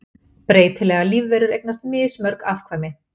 breytilegar lífverur eignast mismörg afkvæmi